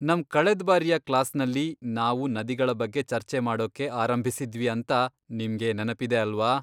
ನಮ್ ಕಳೆದ್ಬಾರಿಯ ಕ್ಲಾಸ್ನಲ್ಲಿ ನಾವು ನದಿಗಳ ಬಗ್ಗೆ ಚರ್ಚೆ ಮಾಡೊಕ್ಕೆ ಆರಂಭಿಸಿದ್ವಿ ಅಂತ ನಿಮ್ಗೆ ನೆನಪಿದೆ ಅಲ್ವಾ?